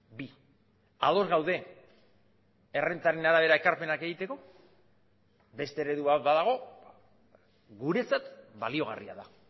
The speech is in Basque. bi ados gaude errentaren arabera ekarpenak egiteko beste eredu bat badago guretzat baliagarria da